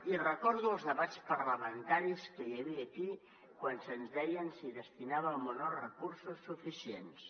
i recordo els debats parlamentaris que hi havia aquí quan se’ns deia si destinàvem o no recursos suficients